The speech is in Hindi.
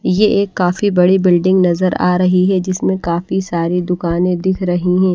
ये एक काफी बड़ी बिल्डिंग नजर आ रही है जिसमें काफी सारी दुकानें दिख रही हैं।